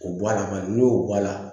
O bɔ a la n'o y'o bɔ a la